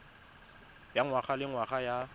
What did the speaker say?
ya ngwaga le ngwaga ya